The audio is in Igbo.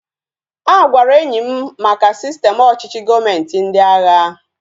A gwara enyi m maka sistem ọchịchị gọọmenti ndị agha